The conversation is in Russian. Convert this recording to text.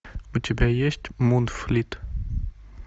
у тебя есть мунфлит